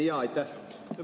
Aitäh!